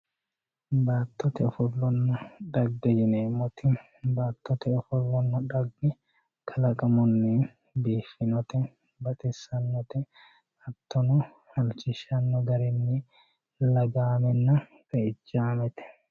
Baatotte offolonna dhaage yinemotti baatotte offolonna dhaage kaalaqamunni biifinotte baaxisanotte haatonno haalichishano gaarinni laagaamenna xe'ichamette